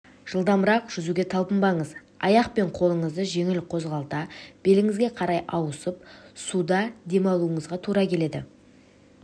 жылдамырақ жүзуге талпынбаңыз аяқ пен қолыңызды жеңіл қозғалта беліңізге қарай ауысып суда демалуыңызға тура келеді